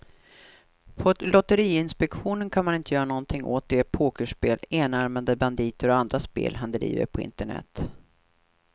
På lotteriinspektionen kan man inte göra någonting åt de pokerspel, enarmade banditer och andra spel han driver på internet.